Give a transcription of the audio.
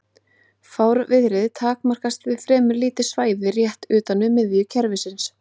Fárviðrið takmarkast við fremur lítið svæði rétt utan við miðju kerfisins.